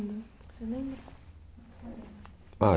Você lembra? Ah